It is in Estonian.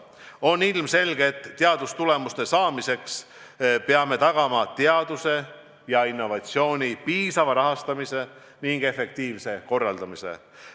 On ilmselge, et teadustulemuste saamiseks peame tagama teaduse ja innovatsiooni piisava rahastamise ning efektiivse korralduse.